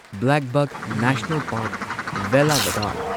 blackbuck national park, Velavadar